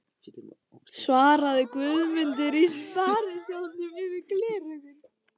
svaraði Guðmundur í Sparisjóðnum yfir gleraugun.